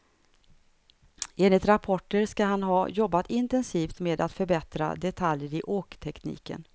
Enligt rapporter ska han ha jobbat intensivt med att förbättra detaljer i åktekniken.